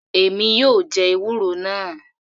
Èmi yóò jẹ ewúro náà.